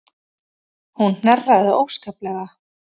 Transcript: Hún hnerraði óskaplega.